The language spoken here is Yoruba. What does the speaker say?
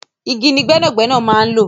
Igi ni gbẹ́nàgbẹ́nà máa n̄ lò